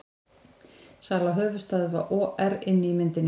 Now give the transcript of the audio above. Sala höfuðstöðva OR inni í myndinni